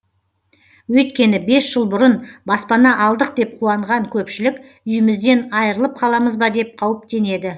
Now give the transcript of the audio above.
өйткені бес жыл бұрын баспана алдық деп қуанған көпшілік үйімізден айрылып қаламыз ба деп қауіптенеді